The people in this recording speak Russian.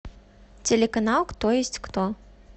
телеканал кто есть кто